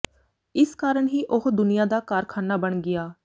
ਇਸ ਕਾਰਨ ਹੀ ਉਹ ਦੁਨੀਆ ਦਾ ਕਾਰਖ਼ਾਨਾ ਬਣ ਗਿਆ